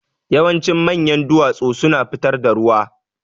Yawancin manyan duwatsu suna fitar da ruwa.